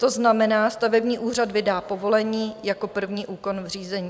To znamená, stavební úřad vydá povolení jako první úkon v řízení.